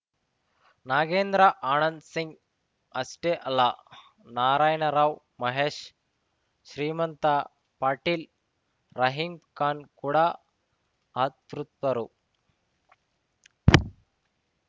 ನಾಗೇಂದ್ರ ಆನಂದ್‌ ಸಿಂಗ್‌ ಅಷ್ಟೇ ಅಲ್ಲ ನಾರಾಯಣರಾವ್‌ ಮಹೇಶ್‌ ಶ್ರೀಮಂತ ಪಾಟೀಲ್‌ ರಹೀಂ ಖಾನ್‌ ಕೂಡ ಅತೃಪ್ತರು